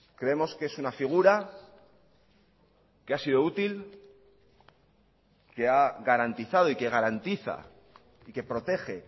creemos que es una figura que ha sido útil que ha garantizado y que garantiza y que protege